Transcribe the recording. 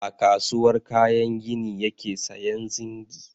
A kasuwar kayan gini yake sayan zingi.